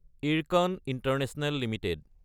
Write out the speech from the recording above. Ircon International Ltd